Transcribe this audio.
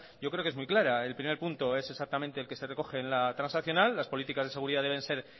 yo creo que es muy clara el primer punto es exactamente el que se recoge en la transaccional las políticas de seguridad deben